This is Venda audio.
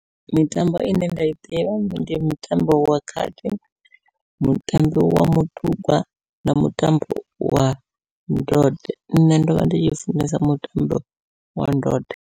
Mitambo ine nda i ḓivha ndi mutambo wa khadi, mutambi wa mutugwa na mutambo wa ndode nṋe ndovha ndi tshi funesa mutambo wa ndode.